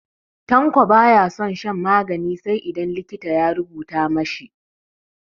Tanko ba ya son shan magani sai idan likita ya rubuta ma shi.